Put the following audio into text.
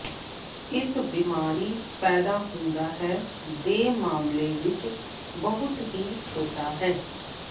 ਇਸ ਬਿਮਾਰੀ ਪੈਦਾ ਹੁੰਦਾ ਹੈ ਦੇ ਮਾਮਲੇ ਵਿਚ ਬਹੁਤ ਹੀ ਛੋਟਾ ਹੈ